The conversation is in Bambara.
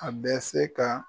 A bɛ se ka